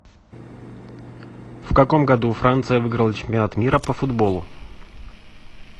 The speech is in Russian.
в каком году франция выиграла чемпионат мира по футболу